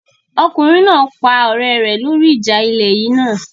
Ọkùnrin náà pa ọ̀rẹ́ rẹ lórí ìjà ilẹ̀ yìí náà